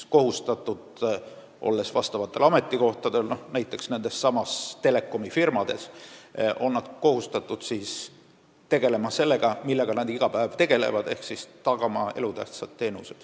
Olles tööl teatud ametikohtadel, näiteks nendessamades telekomifirmades, on nad kohustatud tegelema sellega, millega nad iga päev tegelevad, ehk tagama elutähtsad teenused.